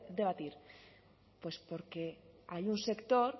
debatir pues porque hay un sector